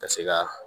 Ka se ka